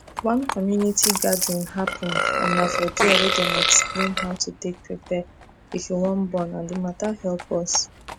one community gathering happen and na for diawey dem explain how to take prepare if you wan born and d matter help us